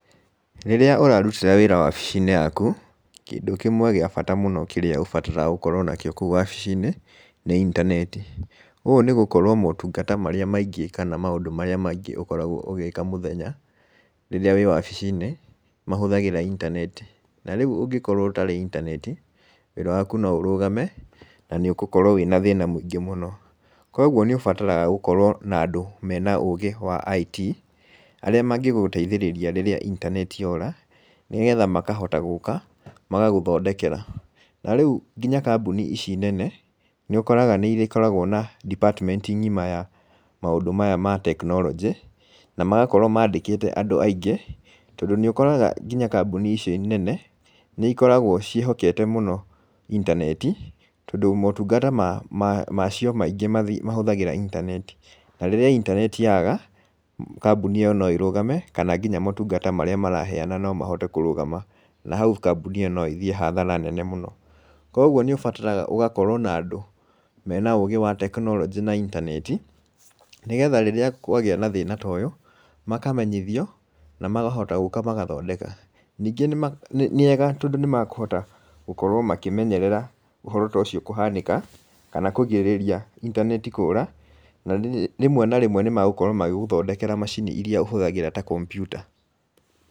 Rĩrĩa ũrarutĩra wĩra wabici-inĩ yaku, kĩndũ kĩmwe gĩa abata mũno ũbataraga gũkorwo nakĩo kũu wabici-inĩ nĩ intaneti, ũũ nĩ gũkorwo motungata marĩa maingĩ kana maũndũ marĩa maingĩ ũkoragwo ũgĩĩka mũthenya rĩrĩa wĩ wabici-inĩ nĩ mahũthagĩra intaneti, na rĩu ũngĩkorwo ũtarĩ intaneti, wĩra waku no ũrũgame, na nĩ ũgũkorwo wĩ na thĩna mũingĩ mũno. Koguo nĩ ũbataraga gũkorwo na andũ mena ũgĩ wa IT, arĩa mangĩgũteithĩrĩria rĩrĩa intaneti yora, nĩgetha makahota gũka, magagũthondekera. Na rĩu nginya kambuni ici nene nĩ ũkoraga nĩ ikoragwo na department ng'ima ya maũndũ maya ma tekinoronjĩ, na magakorwo mandĩkĩte andũ aingĩ, tondũ nĩ ũkoraga nginya kambuni ici nene nĩ ikoragwo ciĩhokete mũno intaneti, tondũ motungata macio maingĩ mahũthagĩra intaneti, na rĩrĩa intaneti yaga, kambuni ĩyo no ĩrũgame, kana nginya motungata marĩa maraheana no mahote kũrũgama na hau kambuni ĩyo no ĩthiĩ hathara nene mũno. Koguo nĩ ũbataraga ũgakorwo na andũ mena ũgĩ wa tekinoronjĩ na intaneti, nĩgetha rĩrĩa kwagĩa na thĩna ta ũyũ, makamenyithio na makahota gũka magathondeka, ningĩ nĩ ega tondũ nĩ makũhota gũkorwo makĩmenyerera ũhoro ta ũcio kũhanĩka, kana kũgirĩrĩria intaneti kũũra, na rĩmwe na rĩmwe nĩ magũkorwo magĩgũthondekera macini iria ũhũthagĩra ta kompiuta.